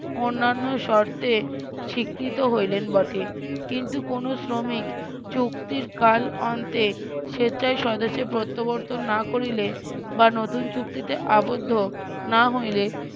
অন্যান্য শর্তে স্বীকৃত হইলেন বটে কিন্তু কোনো শ্রমিক চুক্তির কাল অন্তে স্বেচ্ছায় স্বদেশে প্রত্যাবর্তন না করিলে বা নতুন চুক্তিতে আবদ্ধ না হইলে